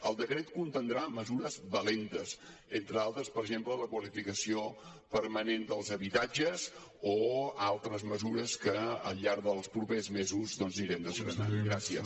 el decret contindrà mesures valentes entre altres per exemple la qualificació permanent dels habitatges o altres mesures que al llarg dels propers mesos anirem desgranant